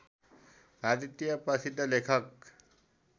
भारतीय प्रसिद्ध लेखक